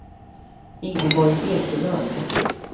Ingeborg Ekelund